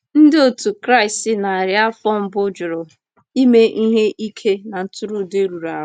Ndị Otú Kristi narị afọ mbụ jụrụ ime ihe ike na ntụrụndụ rụrụ arụ